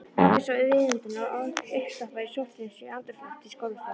Pabbi svo viðutan og uppstoppaður í sótthreinsuðu andrúmslofti skólastofunnar.